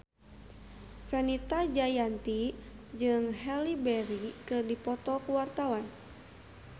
Fenita Jayanti jeung Halle Berry keur dipoto ku wartawan